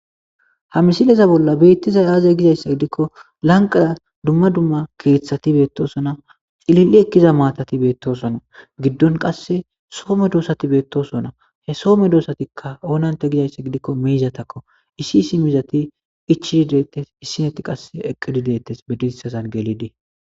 Ha misileza bolla bettizayi aaze gizaysa giddiko lanqera duma duma keththati bettoosona. Lililli ekiza maatatti bettoosona ,giddon qassi soo medoosatti bettoosona ha soo medoosatikka oonante gizaysa giddiko miizatako issi issi miizatti ichchidi de'ittes. Issi natti qassi eqqidi de'ittes bediisasan gelidi.